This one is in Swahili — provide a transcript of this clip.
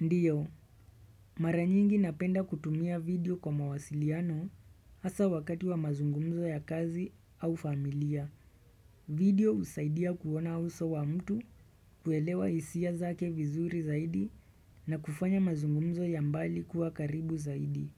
Ndiyo, mara nyingi napenda kutumia video kwa mawasiliano hasa wakati wa mazungumzo ya kazi au familia. Video husaidia kuona uso wa mtu kuelewa hisia zake vizuri zaidi na kufanya mazungumzo ya mbali kuwa karibu zaidi.